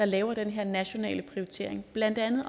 lave den her nationale prioritering blandt andet